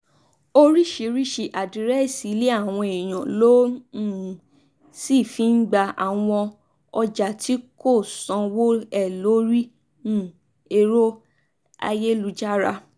oríṣiríṣiì àdírẹ́sì ilé àwọn èèyàn ló um sì fi ń gba àwọn ọjà tí kò sanwó ẹ̀ lórí um ẹ̀rọ ayélujára